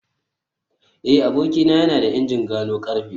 eh abokina yana da injin gano karfe